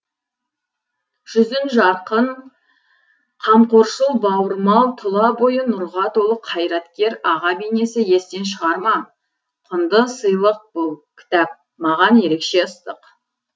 жүзің жарқын қамқоршыл бауырмал тұла бойы нұрға толы қайраткер аға бейнесі естен шығар ма құнды сыи лық бұл кітап маған ерекше ыстық